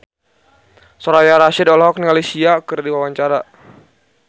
Soraya Rasyid olohok ningali Sia keur diwawancara